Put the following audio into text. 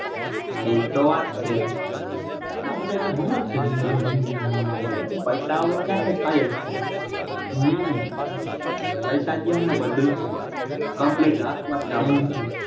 એતો વાત છે આ બધા હમજતા જ નથી પૈસા વગર ક્યાં કઈ થાય જ છે હમ પૈસા દેય હમણાં બધું complete હાથ માં જ છે આપડા.